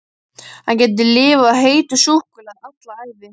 Hann gæti lifað á heitu súkkulaði alla ævi!